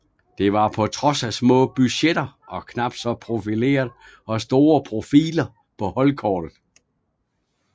Det var på trods af små budgetter og knap så profileret og store profiler på holdkortet